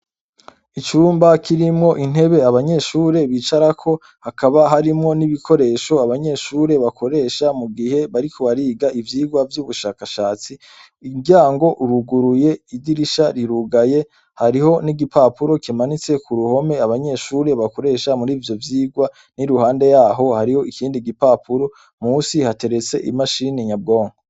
Icumba kirimwo intebe abanyeshure bicarako hakaba harimwo n'ibikoresho abanyeshure bakoresha mugihe bariko bariga ivyigwa vy'ubushakashatsi. Umuryango uruguruye, idirisha rirugaye. Hariho n'igipapuro kimanitse k'uruhome abanyeshure bakoresha mur'ivyovyigwa. N'iruhande yaho hariyo ikindi gipapuro; Musi hateretse imashini nyabwonko.